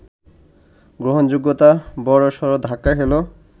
গ্রহণযোগ্যতা বড়সড় ধাক্কা খেল